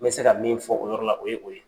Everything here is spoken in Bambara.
N be se ka min fɔ o yɔrɔ la o ye o ye.